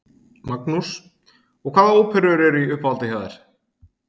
Magnús: Og hvaða óperur eru í uppáhaldi hjá þér?